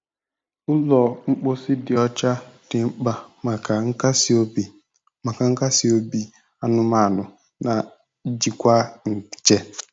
Ụlọ mposi dị ọcha dị mkpa maka nkasi obi maka nkasi obi anụmanụ na njikwa nje.